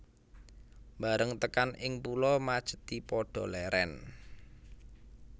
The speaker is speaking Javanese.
Bareng tekan ing Pulo Majethi padha lèrèn